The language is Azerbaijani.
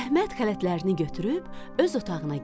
Əhməd xələtlərini götürüb öz otağına getdi.